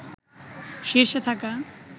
শীর্ষে থাকা